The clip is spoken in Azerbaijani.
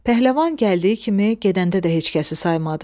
Pəhləvan gəldiyi kimi gedəndə də heç kəsi saymadı.